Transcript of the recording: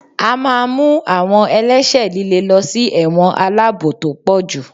a ma mú awọn ẹlẹṣẹ lìlè ló sí ẹwọ́n alabò to pojú